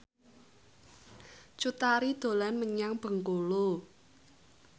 Cut Tari dolan menyang Bengkulu